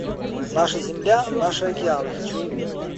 наша земля наши океаны хочу увидеть